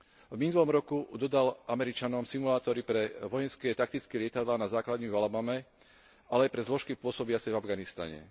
V minulom roku dodal Američanom simulátory pre vojenské taktické lietadlá na základňu v Alabame, ale aj pre zložky pôsobiace v Afganistane.